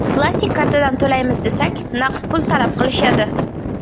Plastik kartadan to‘laymiz desak, naqd pul talab qilishadi.